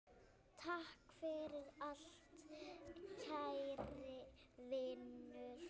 Takk fyrir allt, kæri vinur.